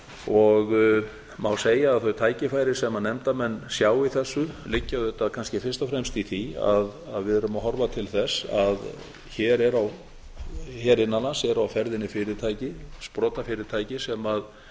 og má segja að þau tækifæri sem nefndarmenn sjá í þessu liggja auðvitað kannski fyrst og fremst í því að við erum að horfa til þess að hér innan lands eru á ferðinni fyrirtæki sprotafyrirtæki sem